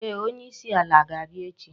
Ee, onye isi ala ga-abia echi